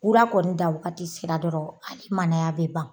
Wula kɔni dan wagati sera dɔrɔn hali manaya bɛ ban